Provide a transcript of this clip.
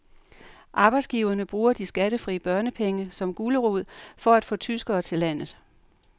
Arbejdsgiverne bruger de skattefri børnepenge som gulerod for at få tyskere til landet.